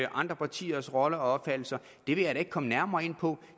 andre partiers rolle og opfattelser vil jeg da ikke komme nærmere ind på